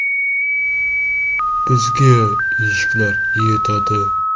“Bizga eshiklar yetadi.